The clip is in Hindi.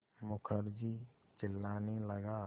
मुखर्जी चिल्लाने लगा